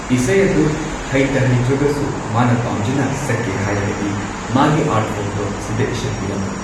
ꯏꯁꯩ ꯑꯗꯨ ꯍꯩꯇ ꯍꯩꯇ꯭ꯔꯒꯁꯨ ꯃꯥꯅ ꯄꯥꯝꯖꯅ ꯁꯛꯀꯦ ꯍꯥꯏꯔꯒꯗꯤ ꯃꯥꯒꯤ ꯑꯥꯔꯠ ꯐꯣꯔꯝꯗꯣ ꯁꯤꯗ ꯏꯁꯟꯕꯤꯔꯝꯃꯨ꯫